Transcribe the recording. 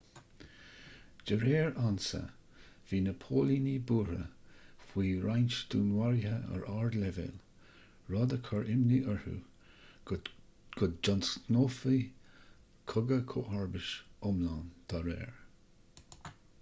de réir ansa bhí na póilíní buartha faoi roinnt dúnmharuithe ar ardleibhéal rud a chur imní orthu go dtionscnófaí cogadh comharbais iomlán dá réir